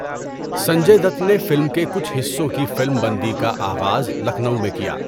سنجے دت نے فلم کے کچھ حصوں کی فلم بندی کا آغاز لکھنؤ میں کیا۔